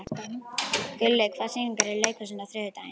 Gulli, hvaða sýningar eru í leikhúsinu á þriðjudaginn?